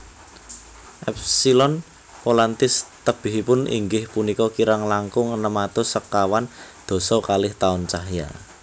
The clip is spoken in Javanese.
Epsilon Volantis tebihipun inggih punika kirang langkung enem atus sekawan dasa kalih taun cahya